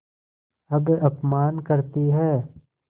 अब अपमान करतीं हैं